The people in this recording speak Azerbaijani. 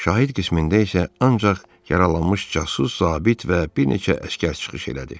Şahid qismində isə ancaq yaralanmış casus zabit və bir neçə əsgər çıxış elədi.